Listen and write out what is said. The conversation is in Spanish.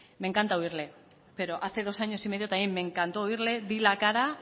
me encanta oírle pero hace dos años y medio también me encantó oírle di la cara